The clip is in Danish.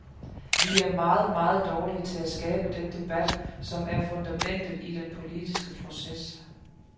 Vi er meget, meget dårlige til at skabe den debat, som er fundamentet i den politiske proces.